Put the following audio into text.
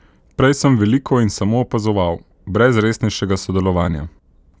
Prej sem veliko in samo opazoval, brez resnejšega sodelovanja.